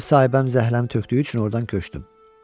Ev sahibəm zəhləmi tökdüyü üçün ordan köçdüm.